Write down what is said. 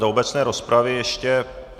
Do obecné rozpravy ještě...